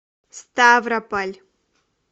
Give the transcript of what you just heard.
ставрополь